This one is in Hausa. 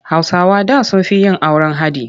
Hausawa da sun fi yin auren haɗi.